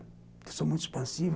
Eu sou muito expansivo.